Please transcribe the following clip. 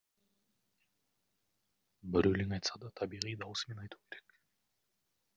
бір өлең айтса да табиғи дауысымен айту керек